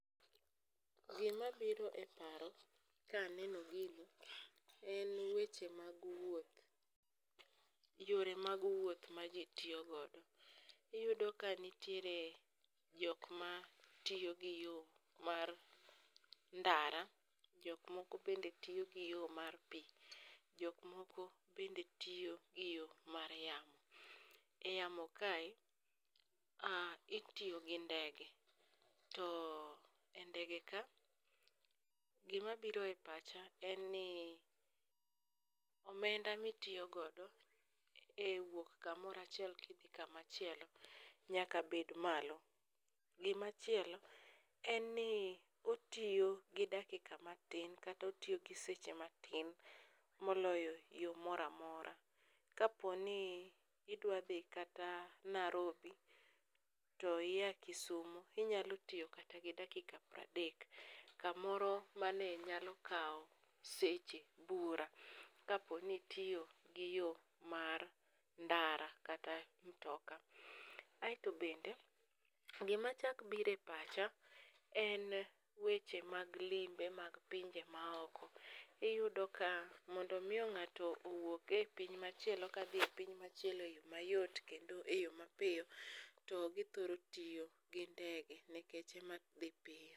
Gimabiro e paro kaneno gini en weche mag wuoth, yore mag wuoth ma ji tiyo godo. Iyudo ka nitiere jok matiyo gi yo mar ndara, jok moko bende tiyo gi yo mar pi, jok moko bende tiyo gi yo mar yamo. E yamo kae, itiyo gi ndege, to e ndege ka, gimabiro e pacha en ni omenda mitiyo godo e wuok kamoro achoiel kidhi kamachielo nyaka bed malo. Gimachielo en ni otiyo gi dakika matin kata otiyo gi secha matin moloyo yo mora mora. Kaponi idwa dhi kata Narobi to iya Kisumo, inyalo tiyo kata gi dakika pradek, kamoro mane nyalo kawo seche bura kapo ni itiyo gi yo mar ndara kata mtoka. Aeto bende, gimachak biro e pacha en weche mag limbe mag pinje maoko. Iyudo ka mondo omi ng'ato owuog e piny machielo kadhi e piny machielo,e yo mayot kendo e yo mapiyo, to githoro tiyo gi ndege nikech ema dhi piyo.